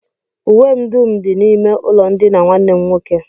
Uwe m dum dị n'ime ụlọndina nwanne m nwoke